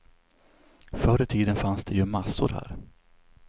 Förr i tiden fanns det ju massor här.